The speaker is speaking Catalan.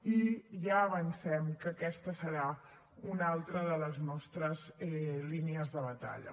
i ja avancem que aquesta serà una altra de les nostres línies de batalla